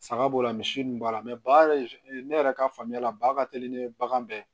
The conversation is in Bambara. Saga b'o la misi ninnu b'a la ba yɛrɛ ne yɛrɛ ka faamuya la ba ka teli ni bagan bɛɛ